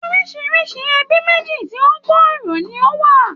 Orisirisi ẹbí méjì tí ó gbòòrò ni ó wà.